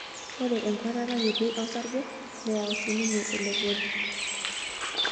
Ore enkuatata kiti osarge neyau sii ninye elepori.